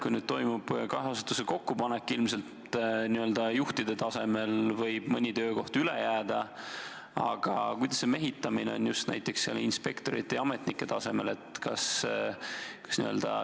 Kui nüüd toimub kahe asutuse kokkupanek, ilmselt n-ö juhtide tasemel võib mõni töökoht üle jääda, aga kuidas peaks minema mehitamine inspektorite ja ametnike tasemel?